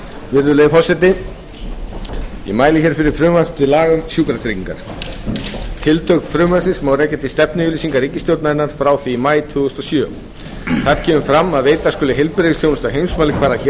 virðulegi forseti ég mæli hér fyrir frumvarpi til laga um sjúkratryggingar tildrög frumvarpsins má rekja til stefnuyfirlýsingar ríkisstjórnarinnar frá því í maí tvö þúsund og sjö þar kemur fram að veita skuli heilbrigðisþjónustu á heimsmælikvarða hér á